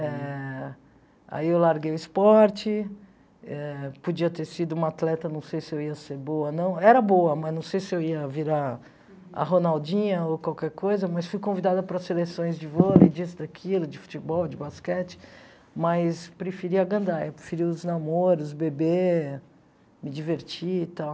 Eh aí eu larguei o esporte ãh, podia ter sido uma atleta, não sei se eu ia ser boa ou não, era boa, mas não sei se eu ia virar a Ronaldinha ou qualquer coisa, mas fui convidada para as seleções de vôlei, disso, daquilo, de futebol, de basquete, mas preferi agandar, preferi os namoros, beber, me divertir e tal.